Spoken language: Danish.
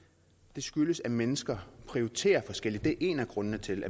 det skyldes at mennesker prioriterer forskelligt det er en af grundene til